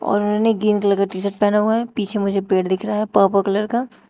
और उन्होंने green colour का टी-शर्ट पहना हुआ है पीछे मुझे पेड़ दिख रहा है पर्पल कलर का।